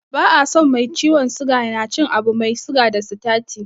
Ba a so mai ciwon suga na cin abu mai siga da sitati.